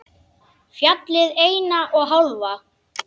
Fjallið eina og hálfa.